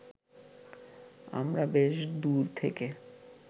আমরা বেশ দূর থেকে